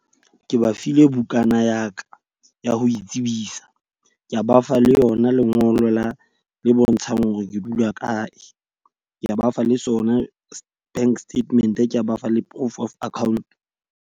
Ke ba file bukana ya ka ya ho itsebisa. Ke a ba fa le yona lengolo la le bontshang hore ke dula kae. Ka ba fa le sona bank statement. Ka ba fa le proof of account.